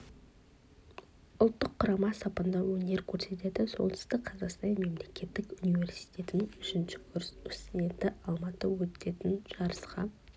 ұлттық құрама сапында өнер көрсетеді солтүстік қазақстан мемлекеттік университетінің үшінші курс студенті алматыда өтетін жарысқа